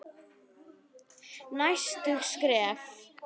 Næstu skref?